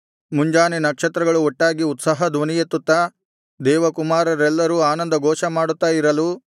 ಮುಂಜಾನೆ ನಕ್ಷತ್ರಗಳು ಒಟ್ಟಾಗಿ ಉತ್ಸಾಹ ಧ್ವನಿಯೆತ್ತುತ್ತಾ ದೇವಕುಮಾರರೆಲ್ಲರೂ ಆನಂದ ಘೋಷಮಾಡುತ್ತಾ ಇರಲು